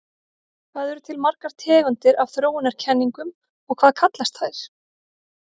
Hvað eru til margar tegundir af þróunarkenningum og hvað kallast þær?